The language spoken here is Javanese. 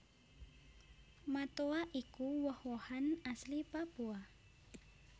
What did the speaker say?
Matoa iku woh wohan asli Papua